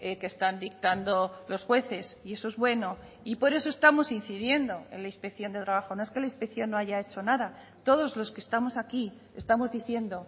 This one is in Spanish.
que están dictando los jueces y eso es bueno y por eso estamos incidiendo en la inspección de trabajo no es que la inspección no haya hecho nada todos los que estamos aquí estamos diciendo